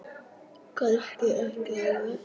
Kannski ekki alveg.